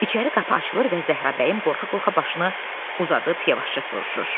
İçəri qapı açılır və Zəhrabəyim qorxa-qorxa başını uzadıb yavaşca soruşur.